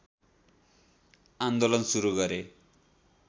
आन्दोलन सुरु गरे